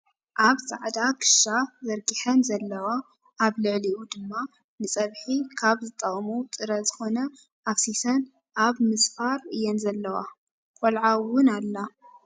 ኣብ ፃዕዳ ክሻ ዘርጊሐን ዘለዋ ኣብ ልዕሊኡ ድማ ንፀቢሒ ካብ ዝጠቅሙ ጥረ ዝኮነ ኣፍሲሰን ኣብ ምስፋር እየ ዘለዋ። ቆልዓ እውን ኣላ።